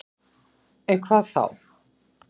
En hvað þá?